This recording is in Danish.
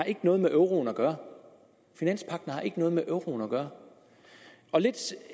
noget med euroen at gøre finanspagten har ikke noget med euroen at gøre lidt